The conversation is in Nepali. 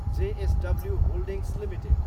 JSW holdings Ltd